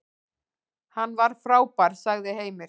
Hann var frábær, sagði Heimir.